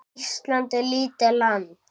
Ísland er lítið land.